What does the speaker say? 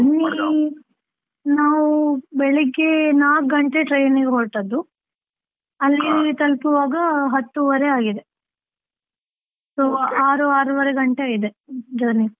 Journey ನಾವು ಬೆಳಿಗ್ಗೆ ನಾಲ್ಕು ಗಂಟೆಗೆ train ಗೆ ಹೊರಟದ್ದು ತಲ್ಪುವಾಗ ಹತ್ತೂವರೆ ಆಗಿದೆ, so ಆರು ಆರೂವರೆ ಗಂಟೆ ಆಗಿದೆ, journey .